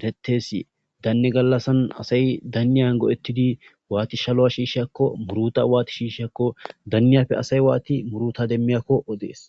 ereetes asay daniyani go'ettid waati muuruta shishshiyakonne waati go'eetiyako oddess.